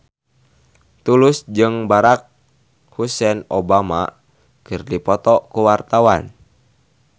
Tulus jeung Barack Hussein Obama keur dipoto ku wartawan